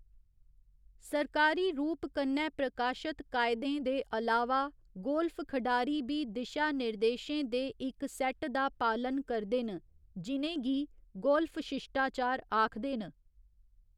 सरकारी रूप कन्नै प्रकाशत कायदें दे अलावा, गोल्फ खढारी बी दिशानिर्देशें दे इक सेट दा पालन करदे न जि'नें गी गोल्फ शिश्टाचार आखदे न।